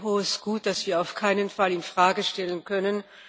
Das ist ein hohes Gut, das wir auf keinen Fall in Frage stellen können.